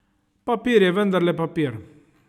Papir je vendarle papir.